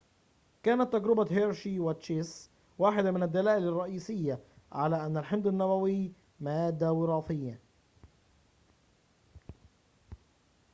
كانت تجربة هيرشي وتشيس واحدة من الدلائل الرئيسية على أن الحمض النووي مادة وراثية